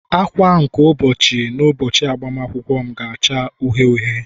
agba nke ụbọchị n'ụbọchị agbamakwụkwọ m ga-acha uhie uhie